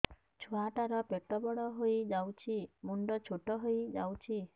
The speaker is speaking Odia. ଛୁଆ ଟା ର ପେଟ ବଡ ହେଇଯାଉଛି ମୁଣ୍ଡ ଛୋଟ ହେଇଯାଉଛି